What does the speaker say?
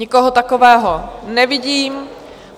Nikoho takového nevidím.